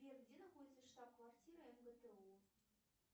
сбер где находится штаб квартира мгту